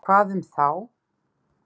Hvað um þá?